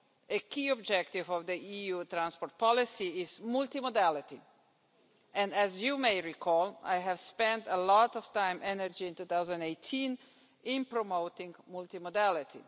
A key objective of EU transport policy is multimodality, and as you may recall I spent a lot of time and energy in 2018 in promoting multimodality.